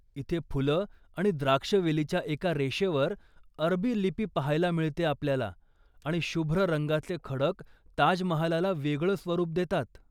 इथे फुलं आणि द्राक्षवेलीच्या एका रेषेवर अरबी लिपी पाहायला मिळते आपल्याला, आणि शुभ्र रंगाचे खडक ताजमहालाला वेगळं स्वरूप देतात.